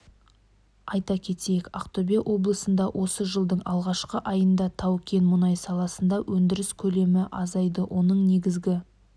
айта кетейік ақтөбе облысында осы жылдың алғашқы айында тау-кен мұнай саласында өндіріс көлемі азайды оның негізгі